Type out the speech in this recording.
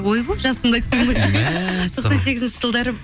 ойбой жасымды айтып тоқсан сегізінші жылдары